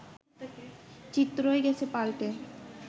চিত্রই গেছে পাল্টে